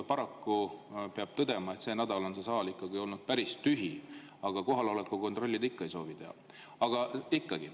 Paraku peab tõdema, et see nädal on see saal olnud päris tühi, aga kohaloleku kontrolli te ikka ei soovi teha.